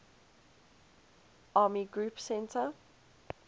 army group centre